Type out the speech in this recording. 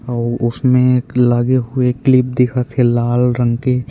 अउ उसमें एक लगे हुए क्लिप दिखत हे लाल रंग के ---